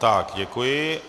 Tak, děkuji.